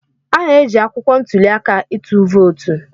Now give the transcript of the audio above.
A na-eji akwụkwọ ntuli aka ịtụ vootu.